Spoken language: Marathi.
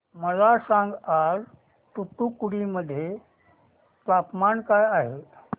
मला सांगा आज तूतुकुडी मध्ये तापमान काय आहे